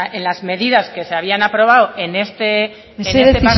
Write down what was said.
en las medidas que se habían aprobado en este mesedez